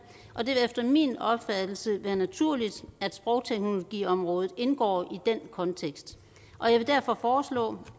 og det vil efter min opfattelse være naturligt at sprogteknologiområdet indgår i den kontekst jeg vil derfor foreslå